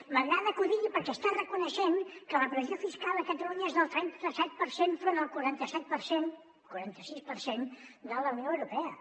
m’agrada que ho digui perquè està reconeixent que la pressió fiscal a catalunya és del trenta set per cent enfront del quaranta set per cent quaranta sis per cent de la unió europea